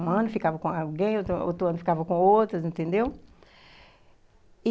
Um ano eu ficava com alguém, outro ano eu ficava com outras, entendeu?